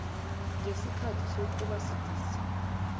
ngesikhathi sokuba sidisi